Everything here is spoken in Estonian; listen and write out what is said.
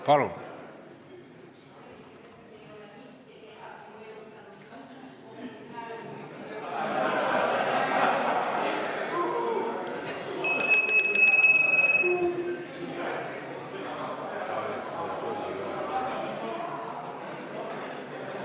Palun!